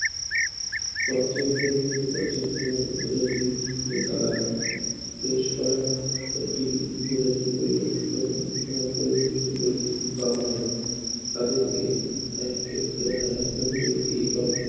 পর্যায়ক্রমে পর্যায়ক্রমে উপজাতি নেতারা বেশ কয়েকটি উপজাতি পরিবর্তন আহ পরিবর্তীত পরিস্থিতির কারণে তাদেরকে এক এক আহ একটা থেকে একটি একক